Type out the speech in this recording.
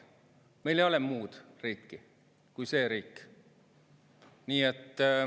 Meil ei ole muud riiki kui see riik.